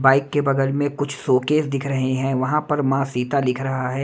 Bike के बगल में कुछ शोकेस दिख रहे हैं वहां पर मां सीता लिख रहा है।